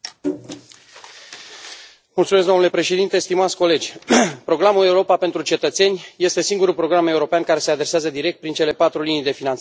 Mulțumesc, domnule președinte, stimați colegi, programul Europa pentru cetățeni este singurul program european care se adresează direct, prin cele patru linii de finanțare, tuturor cetățenilor Europei.